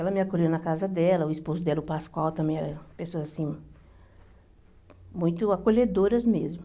Ela me acolheu na casa dela, o esposo dela, o Pascoal, também era uma pessoa assim, muito acolhedoras mesmo.